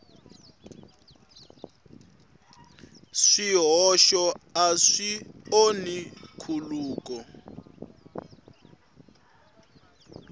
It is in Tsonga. swihoxo a swi onhi nkhuluko